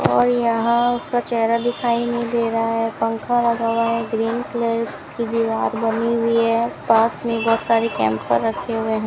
और यहां उसका चेहरा दिखाई नहीं दे रहा है पंखा लगा हुआ है ग्रीन कलर की दीवार बनी हुई है पास में बहुत सारी कैंपर रखे हुए हैं।